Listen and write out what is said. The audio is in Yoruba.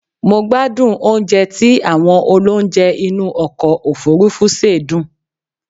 Mo gbádùn oúnjẹ tí àwọn olounje inú ọkọ̀ òfurufú sè dùn